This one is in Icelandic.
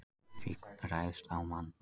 Fíll ræðst á mann